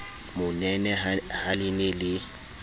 monene ha le ne le